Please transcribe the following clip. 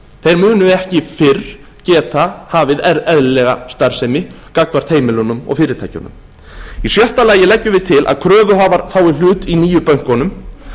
þeir munu ekki fyrr geta hafið eðlilega starfsemi gagnvart heimilunum og fyrirtækjunum í sjötta lagi leggjum við til að kröfuhafar fái hlut í nýju bönkunum